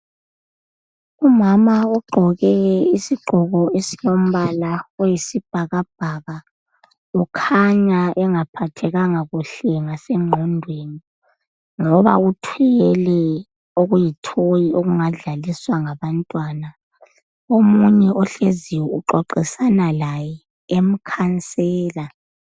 Umama ogqoke isigqoko esilombala oyisibhakabhaka ukhanya engaphathekanga kuhle ngasengqondweni ngoba uthwele okuyithoyi okungadlaliswa ngabantwana. Omunye ohleziyo uxoxisana laye emkhansela.